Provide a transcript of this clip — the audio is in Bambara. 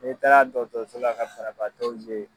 N'e taara dɔtɔrɔsola ka banabaatɔw ye